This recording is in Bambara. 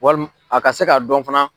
Walim a ka se k'a dɔn fana.